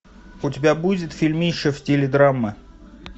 у тебя будет фильмище в стиле драмы